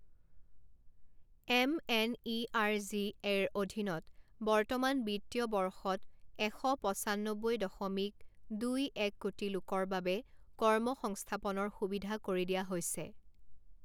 M N E R G এৰ অধীনত বৰ্তমান বিত্তীয় বৰ্ষত এশ পঁচান্নবৈ দশমিক দুই এক কোটি লোকৰ বাবে কৰ্ম সংস্থাপনৰ সুবিধা কৰি দিয়া হৈছে।